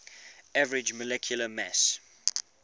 average molecular mass